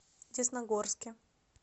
десногорске